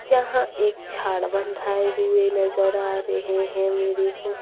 यहां एक छाड़ बंधाए हुए नजर आ रहे है मेरे को।